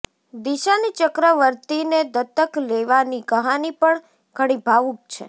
દિશાની ચક્રવર્તીને દત્તક લેવાની કહાની પણ ઘણી ભાવુક છે